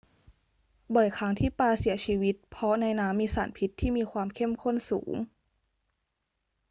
บ่อยครั้งที่ปลาเสียชีวิตเพราะในน้ำมีสารพิษที่มีความเข้มข้นสูง